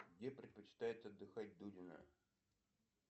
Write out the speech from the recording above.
где предпочитает отдыхать дудина